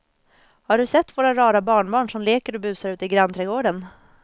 Har du sett våra rara barnbarn som leker och busar ute i grannträdgården!